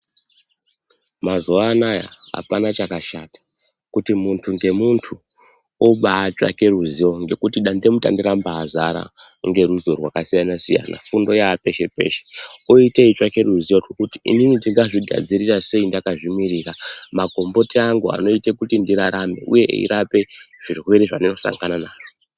Mazuwanaya apana chakashata kuti munhtu ngemuntu obatsvake ruziwo ngekuti dande mutande rambazara ngeruziwo rwakasiyana siyana fundo yapeshe peshe oita eitsvake ruziwo rwekuti inini ndingazvigadzirira sei ndakazvimirira makomboti angu anoite kuti ndirarame uye eirape zvirwere zvandinosangana nazvo.